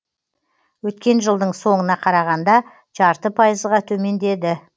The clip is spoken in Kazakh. өткен жылдың соңына қарағанда жарты пайызға төмендеді